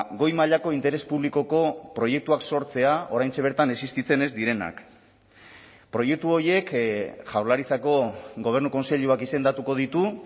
goi mailako interes publikoko proiektuak sortzea oraintxe bertan existitzen ez direnak proiektu horiek jaurlaritzako gobernu kontseiluak izendatuko ditu